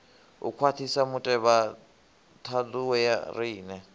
u khwaṱhisa mutevhethandu wa riṋe